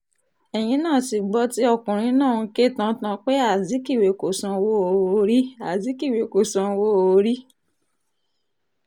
ẹ̀yìn náà ti gbọ́ tí ọkùnrin náà ń ké tantan pé azikiwe kò sanwó-orí azikiwe kò sanwó-orí